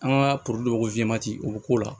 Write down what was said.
An ka ko o bɛ k'o la